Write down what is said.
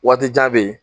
Waati jan bɛ yen